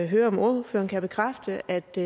høre om ordføreren kan bekræfte at de